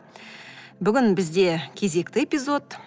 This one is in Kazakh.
бүгін бізде кезекті эпизод